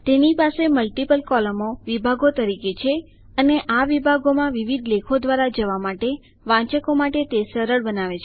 તેની પાસે મલ્ટીપલ કૉલમો વિભાગો તરીકે છે અને આ વિભાગોમાં વિવિધ લેખો દ્વારા જવા માટે વાંચકો માટે તે સરળ બનાવે છે